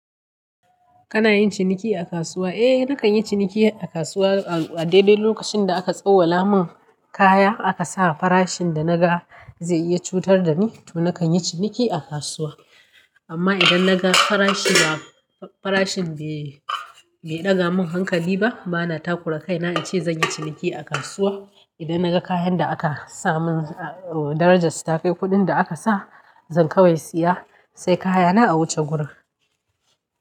Kana yin ciniki a kasuwa? Eh nakan yi ciniki a kasuwa a daidai lokacin da aka tsawala mun kaya aka sa farashin da naga zai iya cutar da ni, to nakan yi ciniki a kasuwa. Amma idan naga farashin be ɗaga mun hankali ba, bana takura kaina ice zan yi ciniki a kasuwa. Idan naga kayan da aka sa mun darajar su ta kai kuɗin da aka sa, zan kawai siya sai kaya na a wuce gurin.